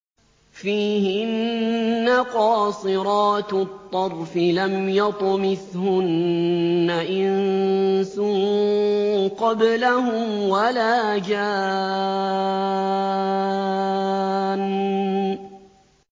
فِيهِنَّ قَاصِرَاتُ الطَّرْفِ لَمْ يَطْمِثْهُنَّ إِنسٌ قَبْلَهُمْ وَلَا جَانٌّ